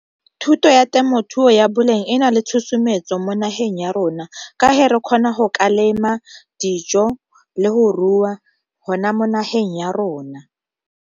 Thuto ya temothuo ya boleng e na le tshosometso mo nageng ya rona, ka re kgona go ka lema dijo le go rua hona mo nageng ya rona.